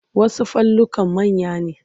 Wasu falukan manya ne.